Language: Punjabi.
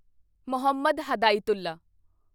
ਮੁਹੰਮਦ ਹਿਦਾਇਤੁੱਲਾ